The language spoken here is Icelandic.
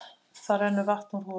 Það rennur vatn úr holunni.